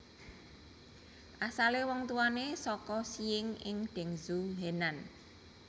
Asalé wong tuwane saka Xiying ing Dengzhou Henan